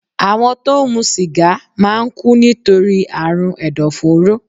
Àwọn tó ń mu sìgá máà ń kú nítorí àrùn ẹ̀dọ̀fóró